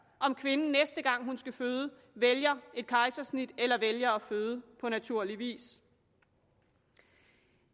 om kvinden næste gang hun skal føde vælger et kejsersnit eller vælger at føde på naturlig vis